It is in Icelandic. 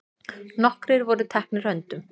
Nokkrir voru teknir höndum.